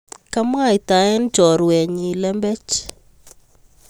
Komwaitae chorwenyi lembech